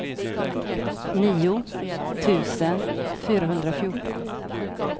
nio tusen fyrahundrafjorton